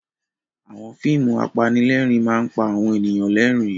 Àwọn fíìmù apanílẹ̀rín máa ń pa àwọn ènìyàn lẹ́rìn-ín.